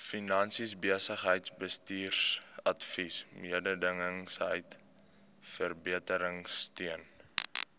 finansies besigheidsbestuursadvies mededingendheidsverbeteringsteun